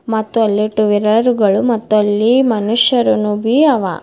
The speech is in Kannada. ಮತ್ತು ಅಲ್ಲಿ ಟು ವಿಲರ್ ಗಳು ಮತ್ತಲ್ಲಿ ಮನುಷ್ಯರು ನುಬಿ ಅವ.